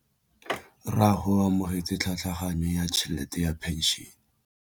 Rragwe o amogetse tlhatlhaganyô ya tšhelête ya phenšene.